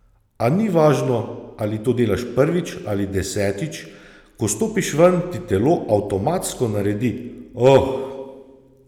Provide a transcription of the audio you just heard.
A ni važno, ali to delaš prvič ali desetič, ko stopiš ven, ti telo avtomatsko naredi Oh!